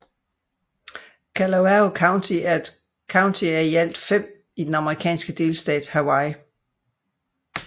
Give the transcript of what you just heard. Kalawao County er et county af i alt fem i den amerikanske delstat Hawaii